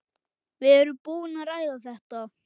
Við erum búin að ræða þetta.